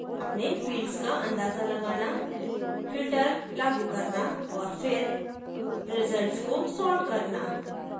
अपने fields का अंदाजा लगाना filter लागू करना और फिर रिजल्ट्स को sort करना